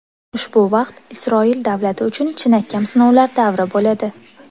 Ushbu vaqt Isroil davlati uchun chinakam sinovlar davri bo‘ladi.